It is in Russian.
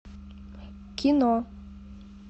кино